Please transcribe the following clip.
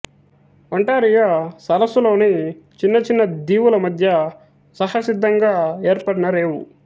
Ontario సరసులోని చిన్న చిన్న దీవుల మధ్య సహసిద్ధంగా ఏర్పడిన రేవు